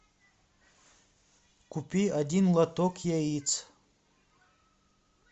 купи один лоток яиц